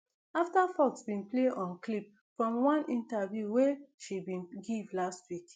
afta fox bin play on clip from one interview wey she bin give last week